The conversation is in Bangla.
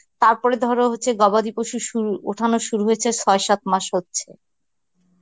তারপরে ধরো হচ্ছে গবাদি পশুর শুরু উঠানো শুরু হইছে ছয় সাত মাস হচ্ছে.